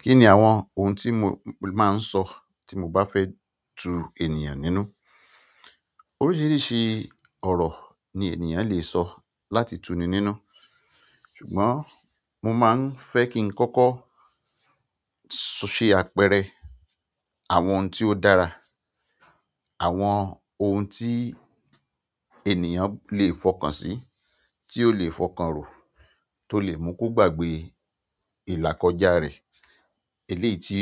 Kí ni àwọn ohun tí mo máa ń sọ tí mo bá fẹ́ tu ènìyàn nínú? Oríṣiríṣi ọ̀rọ̀ ni ènìyàn lè sọ láti tuni nínú. Ṣùgbọ́n mo máa ń fẹ́ kí n kọ́kọ́ ṣe àpẹẹrẹ àwọn ohun tí ó dára, àwọn ohun tí ènìyàn lè fọkàn sí, tí ó lè fọkàn ro, tó lè mú kó gbàgbé ìlà kọjá rẹ̀, eléyìí tí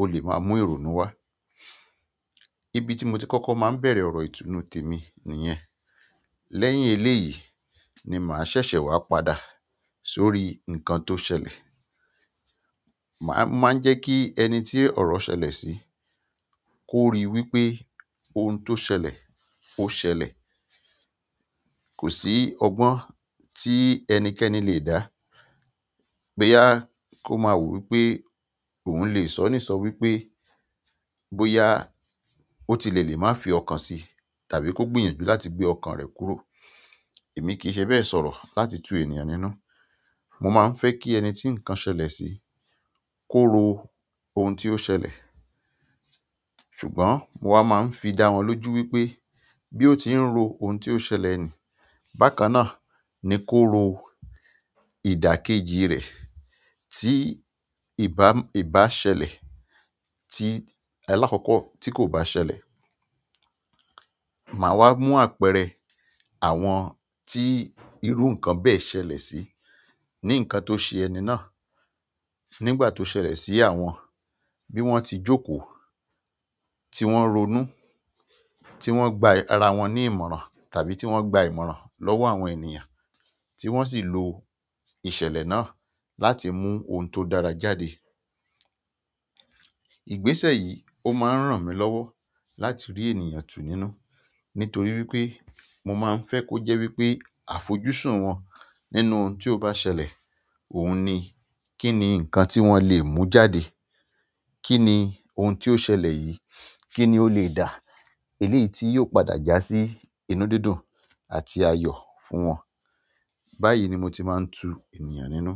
ó lè máa mú ìrònú wá. Ibi tí mo ti kọ́kọ́ máa ń bẹ̀rẹ̀ ọ̀rọ̀ ìtunu tèmi nìyẹn. Lẹ́yìn eléyìí ni màá ṣẹ̀ṣẹ̀ wá padà sórí ǹkan tó ṣẹlẹ̀. Màá máa ń jẹ́ kí ẹni tí ọ̀rọ̀ ṣẹlẹ̀ sí kó ríi wí pé ohun tó ṣẹlẹ̀ ó ṣẹlẹ̀. Kò sí ọgbọ́n tí ẹnikẹ́ni lè dá, bóyá kó máa wò wí pé òun lè sọ̀nísọ̀ wí pé bóyá otilẹ lè máa fi ọkàn sí tàbí kó gbìyànjú láti gbé ọkàn rẹ̀ kúrò. Èmi kì í ṣe bẹ́ẹ̀ sọ̀rọ̀ láti tu ènìyàn nínú. Mo máa ń fẹ́ kí ẹni tí ǹkan ṣẹlẹ̀ sí kó ro ohun tí ó ṣẹlẹ̀. Ṣùgbọ́n mo wà máa ń fi dá wọn lójú wípé bí ó ti ń ro ohun tí ó ṣẹlẹ̀ ni, bákan náà ni kó ro ìdàkejì rẹ̀ tí ìbá ìbá ṣẹlẹ̀, tí alákọ̀ọ́kọ́ tí kò bá ṣẹlẹ̀. Màá wá mú àpẹẹrẹ àwọn tí irú ǹkan bẹ́ẹ̀ ṣẹlẹ̀ sí ní ǹkan tó ṣe ẹni náà nígbà tó ṣẹlẹ̀ sí àwọn, bí wọ́n ti jókòó, tí wọ́n ronú, tí wọ́n gba ara wọn ní ìmọ̀ràn tàbí tí wọ́n gba ìmọ̀ràn lọ́wọ́ àwọn ènìyàn tí wọ́n sì lo ìṣẹ̀lẹ̀ náà láti mú ohun tó dára jáde. Ìgbésẹ̀ yìí ó máa ń ràn mí lọ́wọ́ láti rí ènìyàn tu nínú nítorí wípé mo máa ń fẹ́ kó jẹ́ wípé àfojúsùn wọn nínú ohun tí ó bá ṣẹlẹ̀, òun ni kí ni ǹkan tí wọ́n lè mú jáde? Kí ni ohun tí ó ṣẹlẹ̀ yìí kí ni ó lè dà? Eléyìí tí yóò padà jásí inú dídùn àti ayọ̀ fún wọn. Báyìí ni mo ti máa ń tu ènìyàn nínú.